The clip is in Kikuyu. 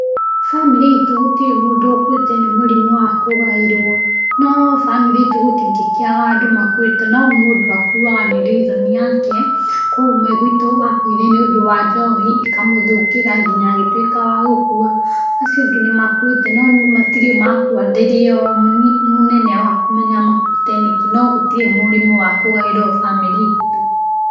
Bamĩrĩ itũ gũtirĩ mũndũ ũkuĩte nĩ mũrimũ wa kũgaĩrwo, no bamĩrĩ itũ gũtingĩkĩaga andũ makuĩte, no mũndũ akuaga nĩ riconi yake, kwĩ ũmwe guitũ wakuire nĩũndũ wa njohi, ĩkamũthũkĩra nginya agĩtuĩka wagũkua, acio angĩ nĩmakuĩte no matirĩ makua ndĩrĩomũnene wa kũmenya makuĩte nĩkĩ, no gũtirĩ mũrimũ wa kũgaĩrwo bamĩrĩ itũ.